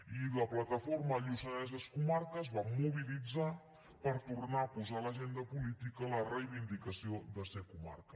i la plataforma lluçanès és comarca es va mobilitzar per tornar a posar a l’agenda política la reivindicació de ser comarca